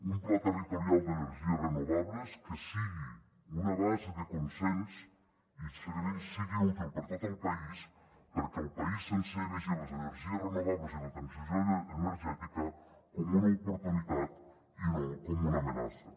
un pla territorial d’energies renovables que sigui una base de consens i que sigui útil per a tot el país perquè el país sencer vegi les energies renovables i la transició energètica com una oportunitat i no com una amenaça